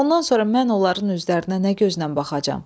Ondan sonra mən onların üzlərinə nə gözlə baxacam?